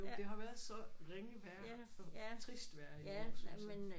Det har været så ringe vejr og trist vejr i år så